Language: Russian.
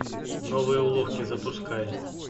новые уловки запускай